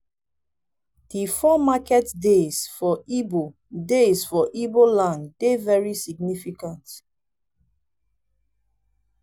di four market days for igbo days for igbo land dey very significant.